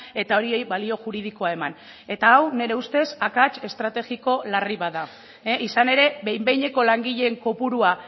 eta horiei balio juridikoa eman eta hau nire ustez akats estrategiko larri bat da izan ere behin behineko langileen kopurua